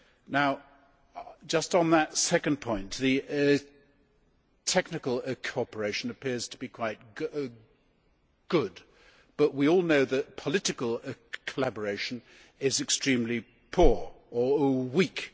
Now, just on that second point, the technical cooperation appears to be quite good but we all know that political collaboration is extremely poor or weak.